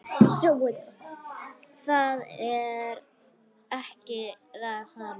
Það er ekki það sama.